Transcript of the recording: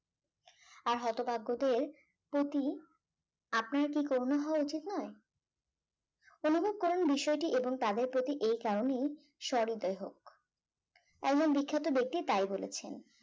আর হতভাগ্যদের প্রতি আপনার কি করুনা হওয়া উচিত নায় অনুভব করার বিষয়টি এবং তাদের প্রতি এ কারণেই সৃদয় হোক একজন বিখ্যাত ব্যক্তি তাই বলেছেন